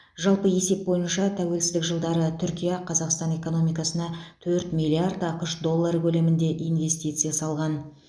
жалпы есеп бойынша тәуелсіздік жылдары түркия қазақстан экономикасына төрт миллиард ақш доллары көлемінде инвестиция салған